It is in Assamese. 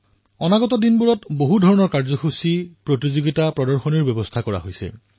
আগন্তুক সময়ত বহু কাৰ্যসূচী প্ৰতিযোগিতা প্ৰদৰ্শনীৰো আয়োদন কৰা হৈছে